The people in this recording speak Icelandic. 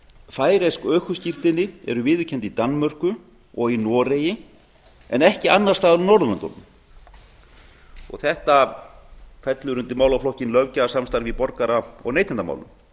færeysk ökuskírteini eru viðurkennd í danmörku og í noregi en ekki annars staðar á norðurlöndunum þetta fellur undir málaflokkinn löggjafarsamstarf í borgara og neytendamálum